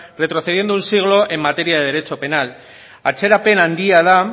retrocediendo un siglo en materia de derecho penal atzerapen handia da